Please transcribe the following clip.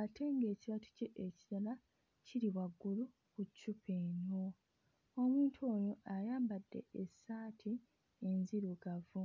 ate ng'ekibatu kye ekirala kiri waggulu ku ccupa eno. Omuntu ono ayambadde essaati enzirugavu.